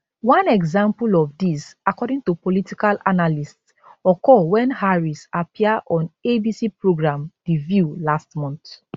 one example of dis according to political analysts occur wen harris appear on abc programme the view last month